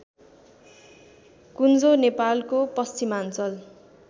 कुञ्जो नेपालको पश्चिमाञ्चल